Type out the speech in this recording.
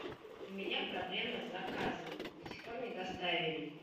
у меня проблема с заказом до сих пор не доставили